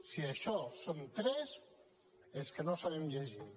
si això són tres és que no sabem llegir